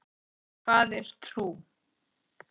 Hvað er trú?